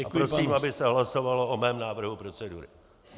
A prosím, aby se hlasovalo o mém návrhu procedury.